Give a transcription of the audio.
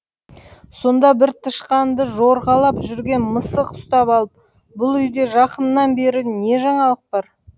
сонда бір тышқанды жорғалап жүрген мысық ұстап алып бұл үйде жақыннан бері не жаңалық бар